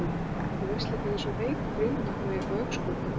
En þú veist líka að ég er svo veikur fyrir ilmvatni og augnskuggum.